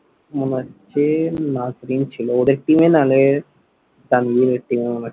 মনে হচ্ছে নাজরীন ছিল। ওদের team এ নালে তানভীরের team এ মনে হয়।